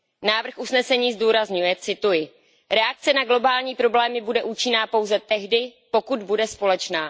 Návrh usnesení zdůrazňuje, že reakce na globální problémy bude účinná pouze tehdy, pokud bude společná.